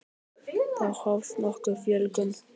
þá hófst nokkur fjölgun